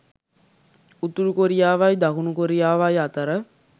උතුරු කොරියාවයි දකුණු කොරියාවයි අතර